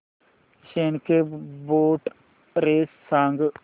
snake boat race सांग